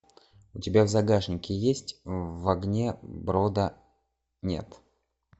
у тебя в загашнике есть в огне брода нет